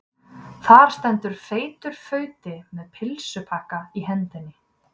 Þar stendur feitur fauti með pulsupakka í hendinni.